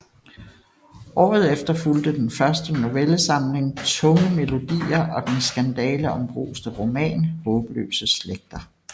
Året efter fulgte den første novellesamling Tunge melodier og den skandaleombruste roman Haabløse Slægter